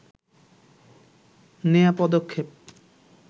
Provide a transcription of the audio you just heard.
নেওয়া পদক্ষেপ